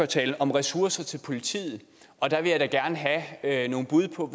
talt om ressourcer til politiet og der vil jeg gerne have nogle bud på